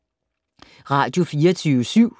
Radio24syv